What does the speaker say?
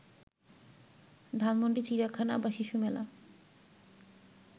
ধানমন্ডি, চিড়িয়াখানা বা শিশু মেলা